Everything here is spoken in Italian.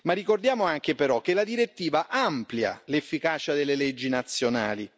Ricordiamo anche, però, che la direttiva amplia l'efficacia delle leggi nazionali.